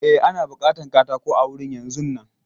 E, ana bukatan katako a wurin yanzun nan.